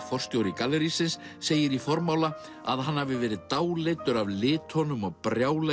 forstjóri gallerísins segir í formála að hann hafi verið dáleiddur af litunum og brjálæðinu